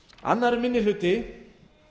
annar minni hluti